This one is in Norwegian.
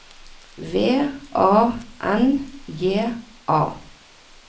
V A N J A